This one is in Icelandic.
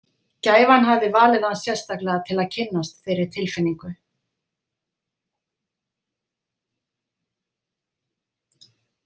Gæfan hafði valið hann sérstaklega til að kynnast þeirri tilfinningu.